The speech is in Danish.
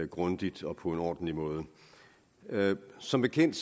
grundigt og på en ordentlig måde som bekendt